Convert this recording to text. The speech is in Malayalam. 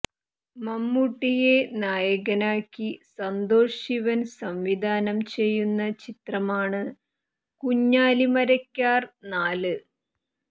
മമ്മൂട്ടിയെ നായകനാക്കി സന്തോഷ് ശിവൻ സംവിധാനം ചെയ്യുന്ന ചിത്രമാണ് കുഞ്ഞാലി മരക്കാർ നാല്